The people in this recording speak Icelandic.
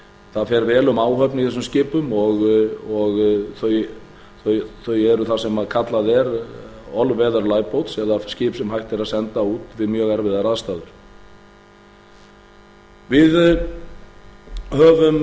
það fer vel um áhöfn í þessum skipum og þau eru þar sem kallað er eða skip sem hægt er að senda út við mjög erfiðar aðstæður við höfum